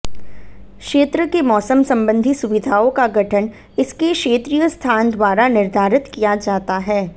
क्षेत्र के मौसम संबंधी सुविधाओं का गठन इसके क्षेत्रीय स्थान द्वारा निर्धारित किया जाता है